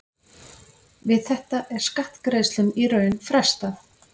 Við þetta er skattgreiðslum í raun frestað.